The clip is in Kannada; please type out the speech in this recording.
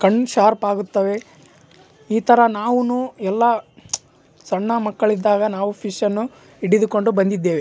ಕಣ್ಣ್ ಶಾರ್ಪ್ ಆಗುತ್ತವೆ ಇತರ ನಾವುನು ಎಲ್ಲ ಸಣ್ಣ ಮಕ್ಕಳಿದ್ದಾಗ ಫಿಷನ್ನು ಇಡಿದುಕೊಂಡು ಬಂದಿದ್ದೇವೆ.